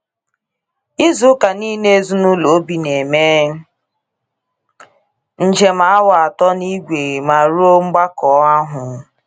Ịzụ ụka niile ezinulo Obi n'eme njem awa atọ n'ìgwe ma rụọ mgbakọ ahụ.